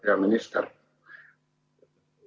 Hea minister!